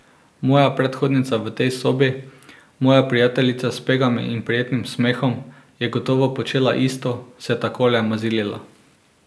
Moja predhodnica v tej sobi, moja prijateljica s pegami in prijetnim smehom, je gotovo počela isto, se takole mazilila.